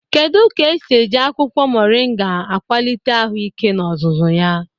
Kedu ka esi eji akwụkwọ moringa akwalite ahụike n'ozuzu ya?